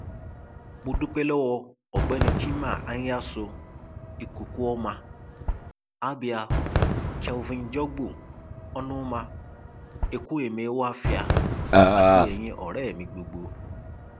mo dúpẹ lọwọ ọgbẹni chima anyaso ikukuoma abia kelvin jọgbò onumah ekwueme ohafia àti eyín ọrẹ mi gbogbo